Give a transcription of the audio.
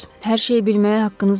Hər şeyi bilməyə haqqınız var.